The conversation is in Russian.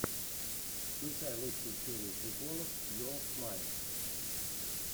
включай лучшую серию приколов йоур смайл